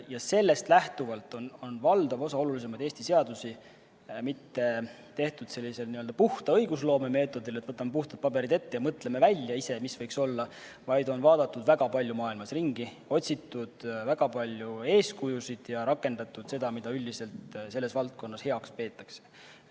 Ja sellest lähtuvalt ei ole valdav osa olulisemaid Eesti seadusi tehtud mitte sellisel n-ö puhta õigusloome meetodil, et võtame puhtad paberid ette ja mõtleme ise välja, mis võiks olla, vaid on vaadatud väga palju maailmas ringi, otsitud väga palju eeskujusid ja rakendatud seda, mida üldiselt selles valdkonnas heaks peetakse.